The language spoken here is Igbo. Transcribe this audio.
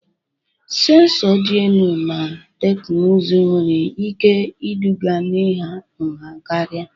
Sensọ dị elu na teknụzụ nwere ike iduga n'ịha nha karịa.